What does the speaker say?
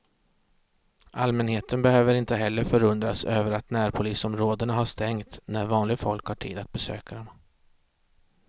Allmänheten behöver inte heller förundras över att närpolisområdena har stängt när vanligt folk har tid att besöka dem.